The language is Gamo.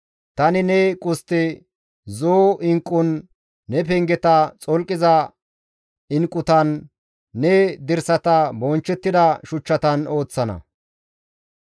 Tani ne qustte zo7o inqqun, ne pengeta xolqiza inqqutan, ne dirsata bonchchettida shuchchatan ooththana.